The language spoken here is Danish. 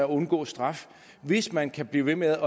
undgå straf hvis man kan blive ved med